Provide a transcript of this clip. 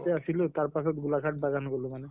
তে আছিলো তাৰ পাছত গোলাঘাট বাগান গʼলো মানে।